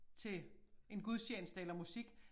Til en gudstjeneste eller musik